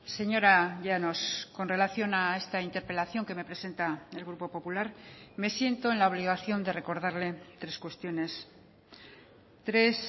señora llanos con relación a esta interpelación que me presenta el grupo popular me siento en la obligación de recordarle tres cuestiones tres